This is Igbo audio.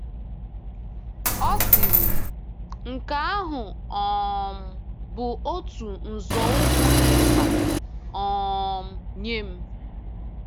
Ọ sịrị, “ nke ahụ um bụ otu nzọụkwụ dị mkpa um nye m. ”